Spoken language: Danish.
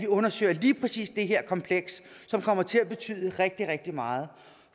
undersøger lige præcis det her kompleks som kommer til at betyde rigtig rigtig meget